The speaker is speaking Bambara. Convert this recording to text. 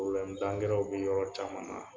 w be yɔrɔ caman na.